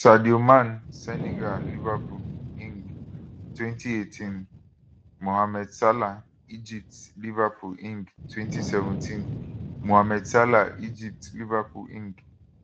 sadio man senegal liverpool eng 2018 mohamed salah egypt liverpool eng 2017 mohamed salah egypt liverpool eng